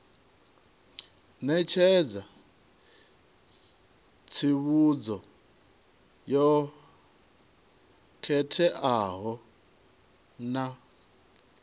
ṋetshedza tsivhudzo yo khetheaho na